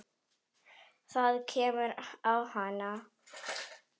Það kemur á hana.